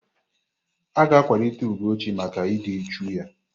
A ga-akwalite Ugochi maka ịdị uchu ya.